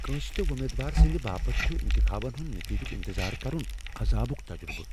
كٲن٘سہِ تہِ وۄمیدوار سندِ باپت چھٗ انخابن ہندِ نتیجٗك انتظار كرٗن عضابٗك تجرٗبہٕ ۔